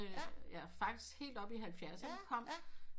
Ja faktisk helt op i halvfjerdserne kom